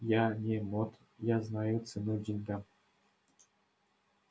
я не мот я знаю цену деньгам